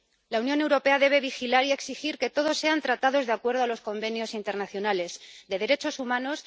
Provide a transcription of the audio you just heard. La Unión Europea debe vigilar y exigir que todos sean tratados de acuerdo con los convenios internacionales de derechos humanos.